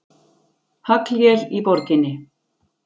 Haglél í borginni